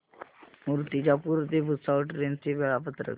मूर्तिजापूर ते भुसावळ ट्रेन चे वेळापत्रक